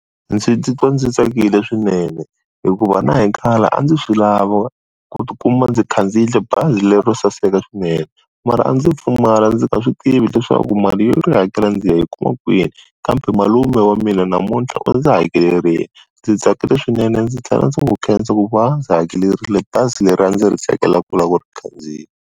Ndzi ti twa ndzi tsakile swinene, hikuva na hi khale a ndzi swi lava ku tikuma ndzi khandziyile bazi lero saseka swinene, mara a ndzi pfumala ndzi nga swi tivi leswaku mali ya ku hakela ndzi ya yi kuma kwini, kambe malume wa mina namuntlha u ndzi hakelerile, ndzi tsakile swinene ndzi tlhela ndzi n'wi khensa ku va a ndzi hakerile bazi leri a ndzi ri tsakela ku lava ku ri khandziya.